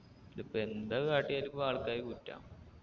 ഇതിപ്പൊ എന്തക്കെ കാട്ടിയാലും ഇപ്പൊ ആൾക്കാരിക്ക് കുറ്റാ